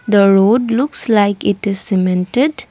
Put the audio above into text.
the road looks like it is cemented.